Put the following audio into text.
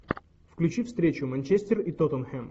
включи встречу манчестер и тоттенхэм